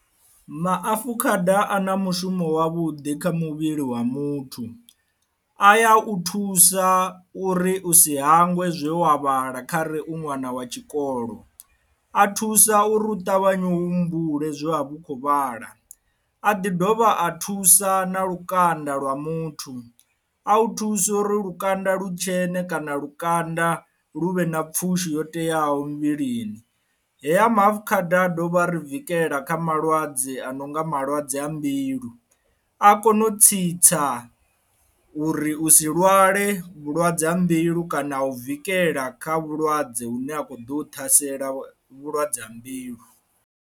Maafukhada a na mushumo wa vhuḓi kha muvhili wa muthu a ya u thusa uri usi hangwe zwe wa vhala khare u ṅwana wa tshikolo a thusa uri u ṱavhanya humbule zwe a vhu kho vhala, a ḓi dovha a thusa na lukanda lwa muthu a u thusa uri lukanda lutshene kana lukanda lu vhe na pfhushi yo teaho muvhilini. Heya maafukhada a dovha ri vikela kha malwadze a no nga malwadze a mbilu a kone u tsitsa uri u si lwale vhulwadze ha mbilu kana a u vikela kha vhulwadze hune a khou ḓa u ṱhasela vhulwadze ha mbilu.